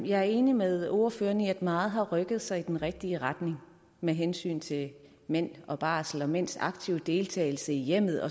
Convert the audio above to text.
jeg enig med ordføreren i at meget har rykket sig i den rigtige retning med hensyn til mænd og barsel og mænds aktive deltagelse i hjemmet